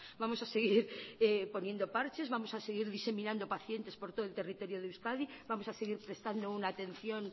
vamos a seguir poniendo parches vamos a seguir diseminando pacientes por todo el territorio de euskadi vamos a seguir prestando una atención